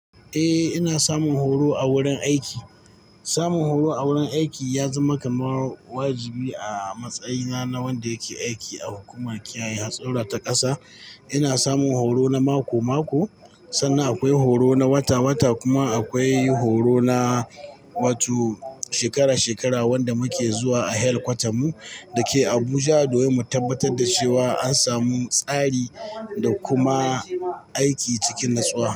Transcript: Eh ina samun horo a wurin aiki. Samun horo a wurin aiki ya zama kamar wajibi a matsayina na wanda yake aiki a hukumar kiyaye hatsurra ta ƙasa. Ina samun horo na mako-mako, sannan akwai horo na wata-wata kuma akwai horo na wato shekara-shekara wanda muke zuwa a headquarter mu da ke Abuja domin mu tabbatar da cewa an samu tsari da kuma aiki cikin natsuwa.